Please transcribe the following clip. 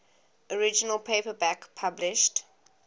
original paperback published